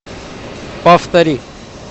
повтори